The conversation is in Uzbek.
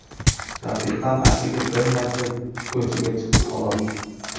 Rafiqam atigi bir marta ko‘chaga chiqdi, xolos.